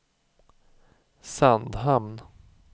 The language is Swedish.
Sandhamn